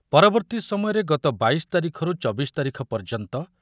ପରବର୍ତ୍ତୀ ସମୟରେ ଗତ ବାଇଶ ତାରିଖରୁ ଚବିଶ ତାରିଖ ପର୍ଯ‍୍ୟନ୍ତ